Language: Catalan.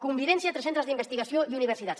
convivència entre els centres d’investigació i universitats